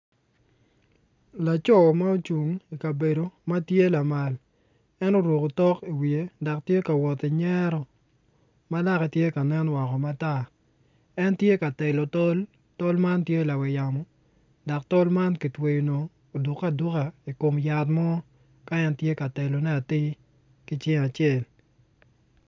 Laco ma ocung i kabedo ma tye lamal en oruko otok i wiye dok tye ka wot ki ngyero ma lake tye ka nen woko matar en tye ka telo tol ma tye lamal dok tol ma kitweyo oduke aduka i kom lawote.